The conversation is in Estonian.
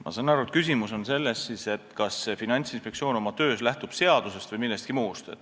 Ma saan aru, et küsimus on selles, kas Finantsinspektsioon oma töös lähtub seadusest või millestki muust.